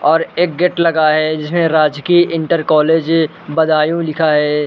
और एक गेट लगा है जिसमें राजकीय इंटर कॉलेज बदायूँ लिखा है।